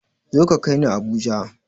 Zo ka kaini habuja!